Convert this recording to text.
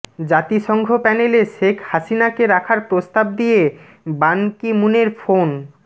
জাতিসংঘ প্যানেলে শেখ হাসিনাকে রাখার প্রস্তাব দিয়ে বান কি মুনের ফোন